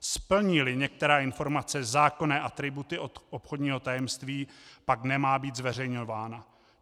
Splní-li některá informace zákonné atributy obchodního tajemství, pak nemá být zveřejňována.